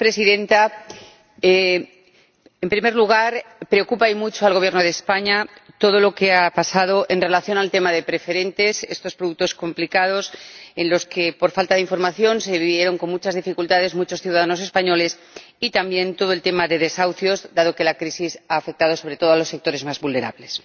Señora Presidenta, en primer lugar, preocupa, y mucho, al Gobierno de España todo lo que ha pasado en relación con el tema de las preferentes, estos productos complicados que, por falta de información, ocasionaron muchas dificultades a muchos ciudadanos españoles, y también el tema de los desahucios, dado que la crisis ha afectado sobre todo a los sectores más vulnerables.